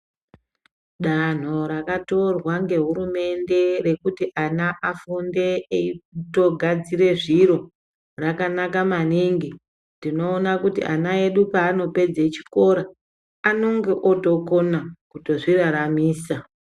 Danho rakatorwa ngehurumende rekuti ana afunde eitogadzire zviro, rakanaka maningi. Tinoona kuti ana edu paanopedze chikora, anonge ootokona, kutozviraramisa.